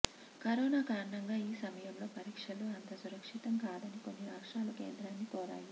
corona కారణంగా ఈ సమయంలో పరీక్షలు అంత సురక్షితం కాదని కొన్ని రాష్రాలు కేంద్రాన్ని కోరాయి